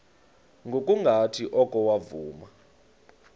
ngokungathi oko wavuma